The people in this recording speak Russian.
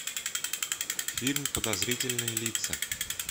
фильм подозрительные лица